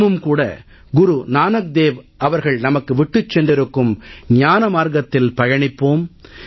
நாமும் கூட குரு நானக் தேவ் அவர்கள் நமக்கு விட்டுச் சென்றிருக்கும் ஞான மார்க்கத்தில் பயணிப்போம்